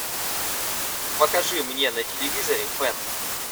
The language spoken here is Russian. покажи мне на телевизоре фэн